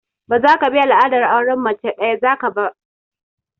Ba zaka bi al'adar auren mace ɗaya za ka ba!